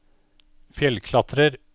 fjellklatrer